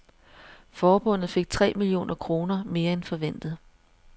Forbundet fik tre millioner kroner mere end forventet.